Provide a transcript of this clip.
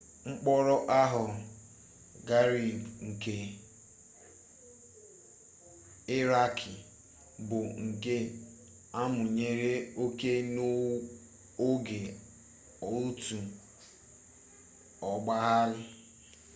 mkpọrọ abu ghraib nke irakị bụ nke amụnyere ọkụ n'oge otu ogbaaghara